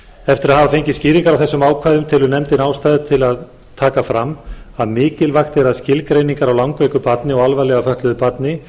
eftir að hafa fengið skýringar á þessum ákvæðum telur nefndin ástæðu til að taka fram að mikilvægt er að skilgreiningar á langveiku barni og alvarlega fötluðu barni